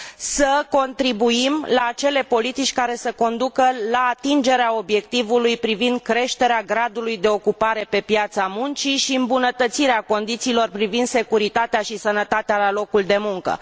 să contribuim la acele politici care să conducă la atingerea obiectivului privind creșterea gradului de ocupare pe piața muncii și îmbunătățirea condițiilor privind securitatea și sănătatea la locul de muncă.